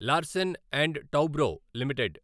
Larsen and Toubro limited